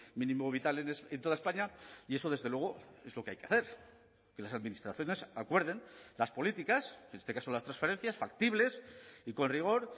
mínimo vital en toda españa y eso desde luego es lo que hay que hacer que las administraciones acuerden las políticas en este caso las transferencias factibles y con rigor